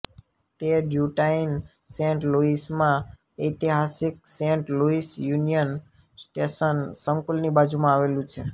તે ડ્યૂટાઇન સેન્ટ લૂઇસમાં ઐતિહાસિક સેન્ટ લૂઇસ યુનિયન સ્ટેશન સંકુલની બાજુમાં આવેલું છે